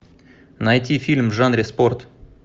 найти фильм в жанре спорт